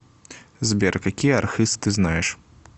сбер какие архыз ты знаешь